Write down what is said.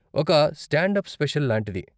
ఒక stand up special లాంటిది.